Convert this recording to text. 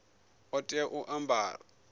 ḓo tea u a ambara